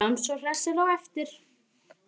Sjáumst svo hressir á eftir.